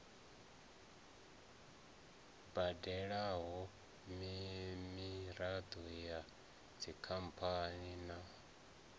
badelwaho miraḓo ya dzikhamphani na